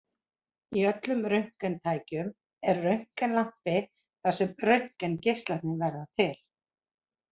Í öllum röntgentækjum er röntgenlampi þar sem röntgengeislarnir verða til.